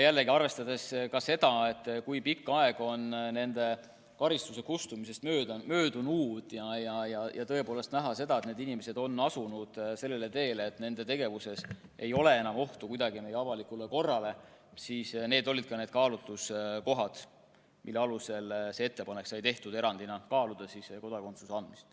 Arvestades seda, kui pikk aeg on nende karistuse kustumisest möödunud, ja nähes seda, et need inimesed on asunud sellisele teele, et nende tegevusest ei lähtu enam ohtu avalikule korrale – need olidki need kaalutluskohad, mille alusel sai tehtud ettepanek kaaluda erandina kodakondsuse andmist.